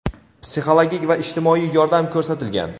psixologik va ijtimoiy yordam ko‘rsatilgan.